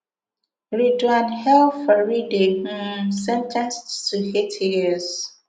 redouane el farihidey um sen ten ced to eight years